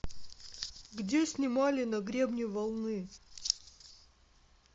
где снимали на гребне волны